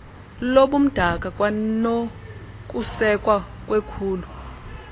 lobumdaka kwanokusekwa kwekhulu